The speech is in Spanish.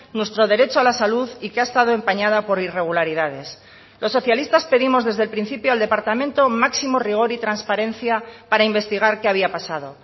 nuestro derecho a la salud y que ha estado empañada por irregularidades los socialistas pedimos desde el principio al departamento máximo rigor y transparencia para investigar qué había pasado